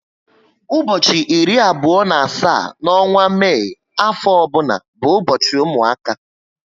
Ụbọchị iri abụo na asaá n'onwa Mai afo ọbụna bu ubochi ụmụaka